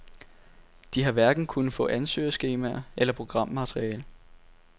De har hverken kunnet få ansøgningsskemaer eller programmateriale.